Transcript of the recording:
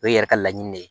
O ye yɛrɛ ka laɲini de ye